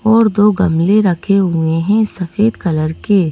और दो गमले रखे हुए है सफेद कलर के।